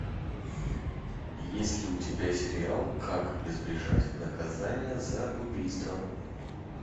есть ли у тебя сериал как избежать наказание за убийство